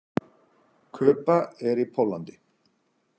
Kuba er í Póllandi.